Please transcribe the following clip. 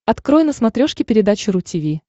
открой на смотрешке передачу ру ти ви